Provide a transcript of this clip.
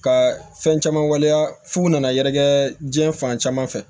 Ka fɛn caman waleya f'u nana yɛrɛkɛ diɲɛ fan caman fɛ